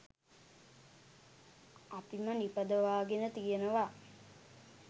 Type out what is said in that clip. අපිම නිපදවාගෙන තියෙනවා.